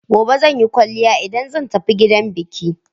Gobe zan yi kwaliya idan zan tafi gidan biki.